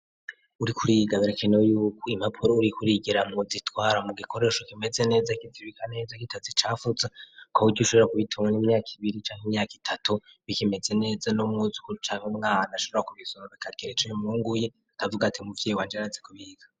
Uriko uriga birakenewe yuko impapuro uriko urigiramwo uzitwara mu gikoresho kimeze neza, kizibika neza, gitazicafuza, kuburyo ushobora kubitora mu myaka ibiri canke imyaka itatu bikimeze neza, n'umwuzukuru canke umwana ashobora kubisoma bikagira ico bimwunguye, akavuga ati umuvyeyi wanje arazi kubika.